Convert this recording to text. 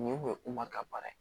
Nin kun ye u ma ka baara ye